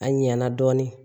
A ɲɛna dɔɔnin